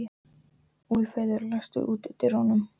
Úlfheiður, læstu útidyrunum.